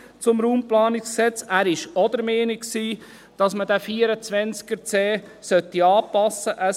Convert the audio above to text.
Er war auch der Meinung, dass man diesen Artikel 24c RPG anpassen sollte.